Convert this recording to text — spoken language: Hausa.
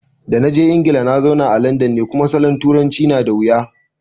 Da naje Ingila nazauna a landan ne, kuma salon turancin na dawuya